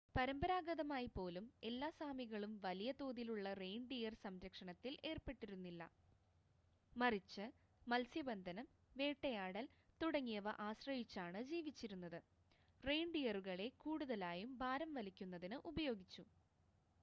പരമ്പരാഗതമായി പോലും എല്ലാ സാമികളും വലിയ തോതിലുള്ള റെയിൻഡിയർ സംരക്ഷണത്തിൽ ഏർപ്പെട്ടിരുന്നില്ല മറിച്ച് മത്സ്യബന്ധനം വേട്ടയാടൽ തുടങ്ങിയവ ആശ്രയിച്ചാണ് ജീവിച്ചിരുന്നത് റെയിൻഡിയറുകളെ കൂടുതലായും ഭാരം വലിക്കുന്നതിന് ഉപയോഗിച്ചു